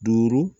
Duuru